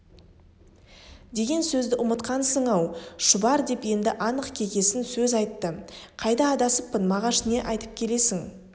деген сөзді ұмытқансың-ау шұбар деп енді анық кекесін сөз айтты қайда адасыппын мағаш не айтып келесің